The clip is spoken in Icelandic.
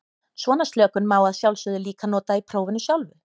Svona slökun má að sjálfsögðu líka nota í prófinu sjálfu.